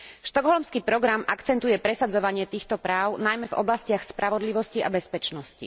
Štokholmský program akcentuje presadzovanie týchto práv najmä v oblastiach spravodlivosti a bezpečnosti.